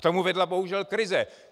K tomu vedla bohužel krize.